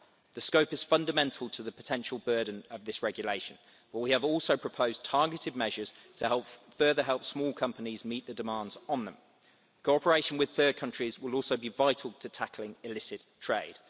The scope is fundamental to the potential burden of this regulation, but we have also proposed targeted measures to further help small companies meet the demands on them. Cooperation with third countries will also be vital to tackling illicit trade.